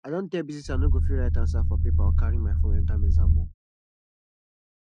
i don tell bisi say i no go fit write answer for paper or carry my phone enter exam hall